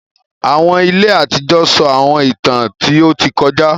Àwọn ìlẹ̀ àtijọ sọ Àwọńìtàn tí o tì kọ̀jà.